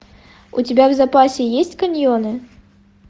у тебя в запасе есть каньоны